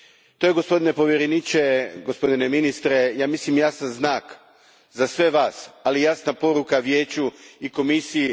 To je gospodine povjereniče, gospodine ministre, ja mislim jasan znak za sve vas, ali i jasna poruka Vijeću i Komisiji.